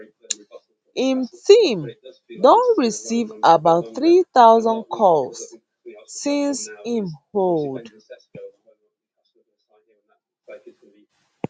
im team don receive about 3000 calls since im hold